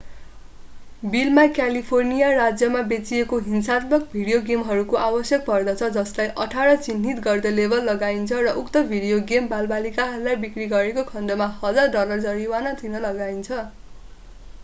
बिलमा क्यालिफोर्निया राज्यमा बेचिएको हिंसात्मक भिडियो गेमहरूको आवश्यक पर्दछ जसलाई 18 चिह्नित गर्दै लेबल लगाइन्छ र उक्त भिडियो गेम बालबालिकाहरूलाई बिक्री गरेको खण्डमा $1000 डलर जरिवाना तिर्न लगाइन्छ